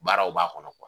Baaraw b'a kɔnɔ